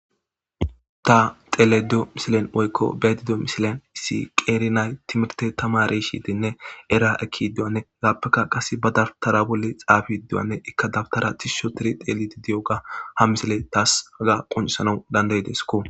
ta tele do misilen oykko bedido misilen issi qeerinay timirte tama reshidenne era eki duwanne gaappekka qas ba dabtara bolle xaafiidduwanne ikka dabtara tishsho tiri teelidi diyoga ha misile taas haga qoncisanau danday deeskko